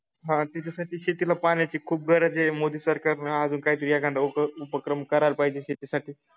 हा त्याच्यासाठी शेतीला खूप पाण्याची गरज आहे मोदी सरकारन अजून काहीतरी एखादा उपक्रम करायला पाहिजे शेतीसाठी